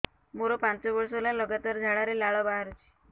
ମୋରୋ ପାଞ୍ଚ ବର୍ଷ ହେଲା ଲଗାତାର ଝାଡ଼ାରେ ଲାଳ ବାହାରୁଚି